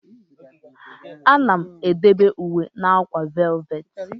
A na-edobe uwe na akwa valeti.